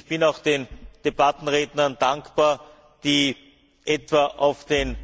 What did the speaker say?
Ich bin auch den Debattenrednern dankbar, die auf den